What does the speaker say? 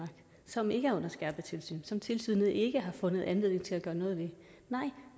som ikke er under skærpet tilsyn som tilsynet ikke har fundet anledning til at gøre noget ved nej